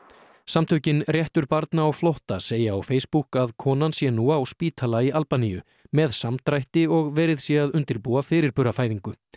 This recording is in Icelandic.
samtökin réttur barna á flótta segja á Facebook að konan sé nú á spítala í Albaníu með samdrætti og verið sé að undirbúa fyrirburafæðingu